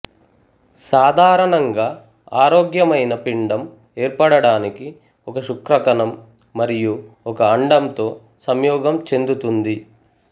సాధారణంగా ఆరోగ్యమైన పిండం ఏర్పడడానికి ఒక శుక్రకణం మరియూ ఒక అండంతో సంయోగం చెందుతుంది